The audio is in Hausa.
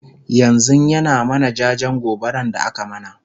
yanzun ya na mana jajen gobaran da aka mana